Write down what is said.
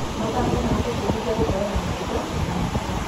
Mathako maratũbundithia gũkorwo na mĩtugo na matua.